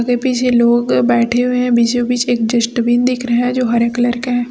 आगे पीछे लोग बैठे हुए है बीचों बीच एक डस्टबिन दिख रहा है जो हरे कलर का है।